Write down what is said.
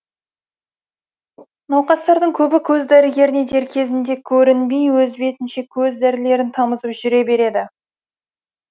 науқастардың көбі көз дәрігеріне дер кезінде көрінбей өз бетінше көз дәрілерін тамызып жүре береді